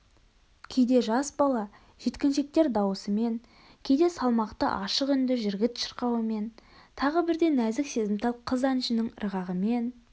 кейде жас бала жеткіншектер даусымен кейде салмақты ашық үнді жігіт шырқауымен тағы бірде нәзік сезімтал қыз әншінің ырғағымен